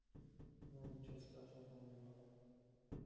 но ничего страшного там не было